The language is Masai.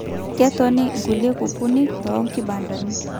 Ketoni nkulie kukunik too kibandani